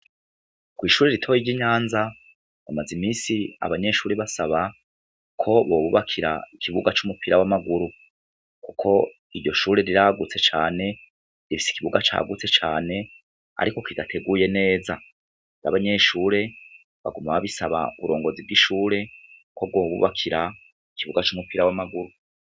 Ishure ritoyi ryi Nyanza ,hamaze iminsi abanyeshure basaba ko bobubakira ikibuga cumupira wamaguru, ko iryoshure riragutse cane, rifise ikibuga cagutse cane ariko kidateguye neza abanyeshure baguma babisaba uburongozi bwishure ko bobubakira ikibuga cumupira wamaguru.